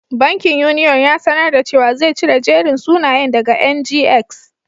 Bankin Union ya sanar da cewa zai cire jerin sunayen daga NGX.